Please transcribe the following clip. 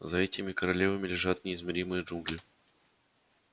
за этими королевами лежат неизмеримые джунгли